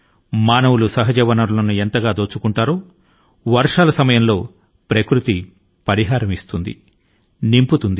మానవులు సహజ వనరుల ను దోపిడి చేస్తూవుంటే వర్షాల సమయం లో ప్రకృతి వాటి ని తిరిగి సమకూర్చుతుంది